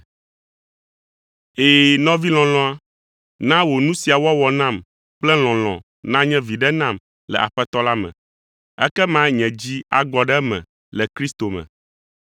Ɛ̃, nɔvi lɔlɔ̃a, na wò nu sia wɔwɔ nam kple lɔlɔ̃ nanye viɖe nam le Aƒetɔ la me, ekema nye dzi agbɔ ɖe eme le Kristo me.